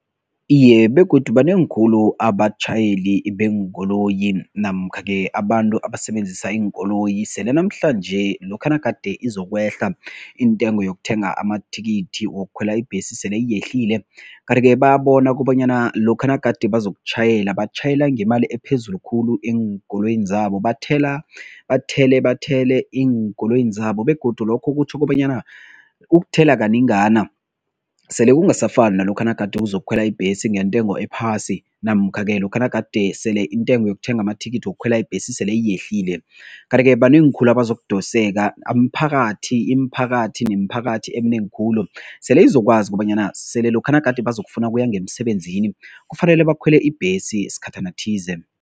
Iye, begodu banengi khulu abatjhayeli beenkoloyi namkha-ke abantu abasebenzisa iinkoloyi sele namhlanje lokha nagade izokwehla intengo yokuthenga amathikithi wokukhwela ibhesi sele yehlile kanti-ke bayabona kobanyana lokha nagade bazokutjhayela, batjhayela ngemali ephezulu khulu eenkoloyini zabo, bathela, bathele, bathele eenkoloyini zabo begodu lokho kutjho kobanyana ukuthela kanengana sele kungasafani nalokha nagade uzokukhwela ibhesi ngentengo ephasi namkha-ke lokha nagade sele intengo yokuthenga amathikithi wokukhwela ibhesi sele iyehlile kanti-ke banengi khulu abazokudoseka, umphakathi, imiphakathi nemiphakathi eminengi khulu sele izokwazi kobanyana sele lokha nagade bazokufuna ukuya ngemsebenzini kufanele bakhwele ibhesi sikhathana thize.